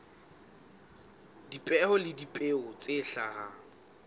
dipeo le dipeo tse hlahang